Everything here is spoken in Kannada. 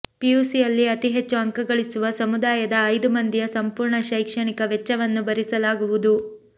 ಪಿಯುಸಿಯಲ್ಲಿ ಅತಿ ಹೆಚ್ಚು ಅಂಕಗಳಿಸುವ ಸಮುದಾಯದ ಐದು ಮಂದಿಯ ಸಂಪೂರ್ಣ ಶೈಕ್ಷಣಿಕ ವೆಚ್ಚವನ್ನು ಭರಿಸಲಾಗುವುದು